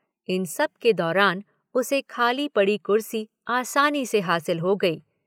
इन सबके दौरान उसे खाली पड़ी कुर्सी आसानी से हासिल हो गई।